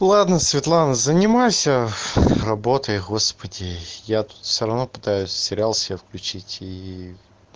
ладно светлана занимайся работой господи я тут всё равно пытаюсь сериал себе включить и